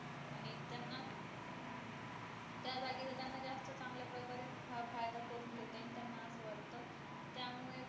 हा फायदा करून घेत आणी त्यानं अस वाटत त्यामुळे पण त्या